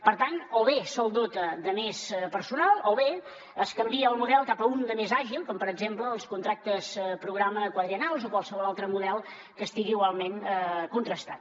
per tant o bé se’l dota de més personal o bé es canvia el model cap a un de més àgil com per exemple els contractes programa quadriennals o qualsevol altre model que estigui igualment contrastat